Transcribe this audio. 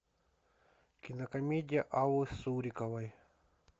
кинокомедия аллы суриковой